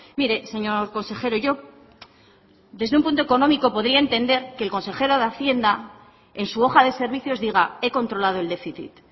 mire señor consejero yo desde un punto económico podría entender que el consejero de hacienda en su hoja de servicios diga he controlado el déficit